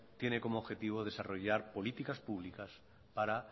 tiene como objetivo desarrollar políticas públicas para